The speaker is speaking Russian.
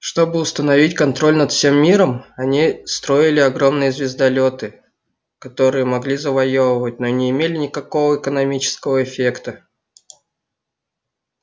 чтобы установить контроль над всем миром они строили огромные звездолёты которые могли завоёвывать но не имели никакого экономического эффекта